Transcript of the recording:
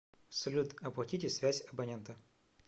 салют оплатите связь абонента